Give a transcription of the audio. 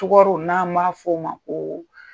Tugaro n'an b'a fɔ o ma ko